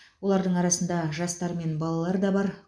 олардың арасында жастар мен балалар да бар